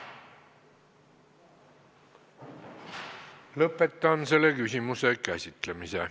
Lõpetan selle küsimuse käsitlemise.